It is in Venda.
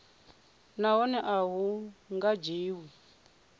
nahone a hu nga dzhiwi